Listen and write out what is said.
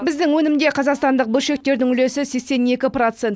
біздің өнімде қазақстандық бөлшектердің үлесі сексен екі процент